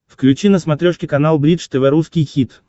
включи на смотрешке канал бридж тв русский хит